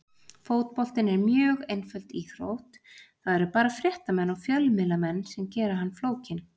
Fótboltinn er mjög einföld íþrótt, það eru bara fréttamenn og fjölmiðlamenn sem gera hann flókinn.